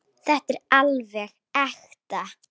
Þetta er alveg ekta.